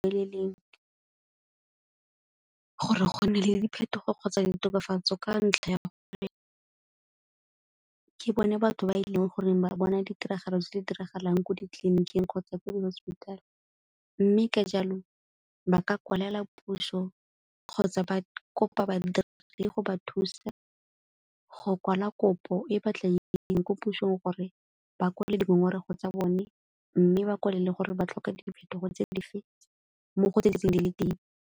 gore go nne le diphetogo kgotsa ditokafatso ka ntlha ya ke bone batho ba e le goreng ba bona ditiragalo tse di diragalang ko ditleliniking kgotsa ko di-hospital. Mme ka jalo ba ka kwalela puso kgotsa ba kopa badiri go ba thusa go kwala kopo e batla ko pusong gore ba kwale dingongorego tsa bone mme ba kwale gore ba tlhoka diphetogo tse dife mmogo le tse .